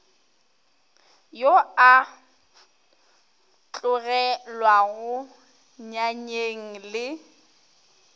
yo a tlogelwago nyanyeng le